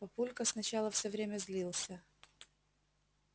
папулька сначала всё время злился